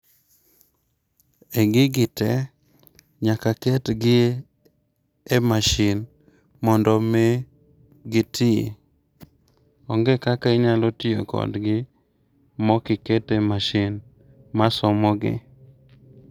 E gigi te, nyaka aketgi e masin mondo mi giti. Onge kaka inyalo tiyo kodgi mok ikete masin masomogi.